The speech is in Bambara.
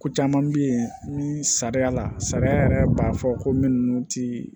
Ko caman bɛ yen ni sariya la sariya yɛrɛ b'a fɔ ko minnu tɛ